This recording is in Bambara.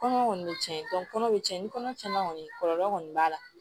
Kɔnɔ kɔni be tiɲɛ kɔnɔ be tiɲɛ ni kɔnɔ tiɲɛ kɔni kɔlɔlɔ kɔni b'a la